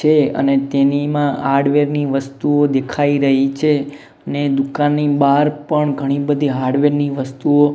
છે અને તેનીમાં હાર્ડવેર ની વસ્તુઓ દેખાય રહી છે અને દુકાનની બાર પણ ઘણી બધી હાર્ડવેર ની વસ્તુઓ--